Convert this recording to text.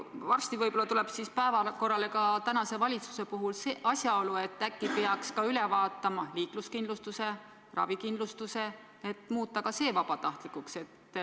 Varsti võib-olla tuleb siis tänase valitsuse puhul päevakorrale küsimus, et äkki peaks üle vaatama ka liikluskindlustuse ja ravikindlustuse regulatsiooni, et muuta need vabatahtlikuks.